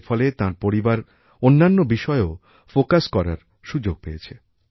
এর ফলে তাঁর পরিবার অন্যান্য বিষয়েও মনোনিবেশ করার সুযোগ পেয়েছে